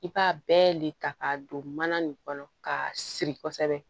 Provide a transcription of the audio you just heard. I b'a bɛɛ le ta k'a don mana nin kɔnɔ ka siri kosɛbɛ